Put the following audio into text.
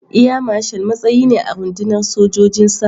Air Marshal matsayi ne a rundunar sojojin sama.